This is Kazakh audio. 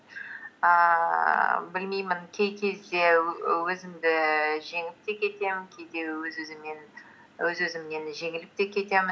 ііі білмеймін кей кезде өзімді жеңіп те кетемін кейде өз өзімнен жеңіліп те кетемін